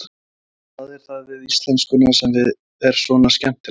Sunna: Hvað er það við íslenskuna sem er svona skemmtilegt?